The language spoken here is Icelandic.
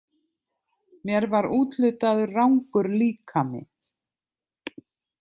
Mér var úthlutaður rangur líkami.